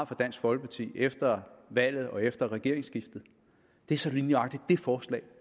fra dansk folkeparti efter valget og efter regeringsskiftet er så lige nøjagtig det forslag